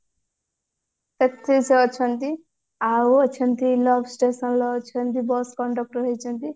ସେଥିରେ ସେ ଅଛନ୍ତି ଆଉ ଅଛନ୍ତି love station ରେ ଅଛନ୍ତି bus conductor ହେଇଛନ୍ତି